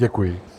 Děkuji.